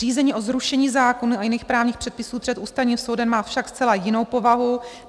Řízení o zrušení zákona a jiných právních předpisů před Ústavním soudem má však zcela jinou povahu.